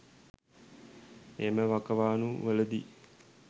එම වකවාණු වලදී